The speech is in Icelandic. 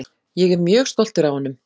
Ég er mjög stoltur af honum.